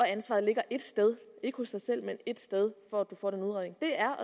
ansvaret ligger ét sted ikke hos dig selv men ét sted for at du får den udredning det er